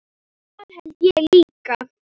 Það held ég líka